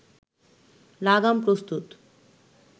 লাগাম প্রস্তুত